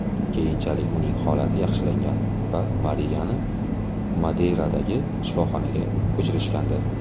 Keyinchalik uning holati yaxshilangan va Mariyani Madeyradagi shifoxonaga ko‘chirishgandi.